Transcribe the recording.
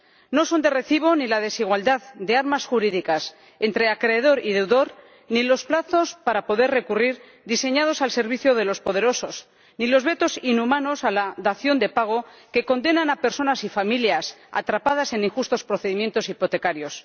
No son de recibo ni la desigualdad de armas jurídicas entre acreedor y deudor, ni los plazos para recurrir, diseñados al servicio de los poderosos, ni los vetos inhumanos a la dación en pago, que condenan a personas y familias atrapadas en injustos procedimientos hipotecarios.